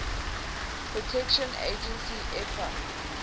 protection agency epa